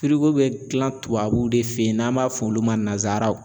bɛ gilan tubabuw de fɛ ye n'an m'a f'olu ma nanzaraw.